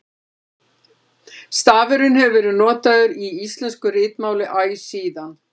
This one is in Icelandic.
stafurinn hefur verið notaður í íslensku ritmáli æ síðan